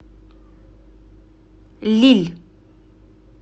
лилль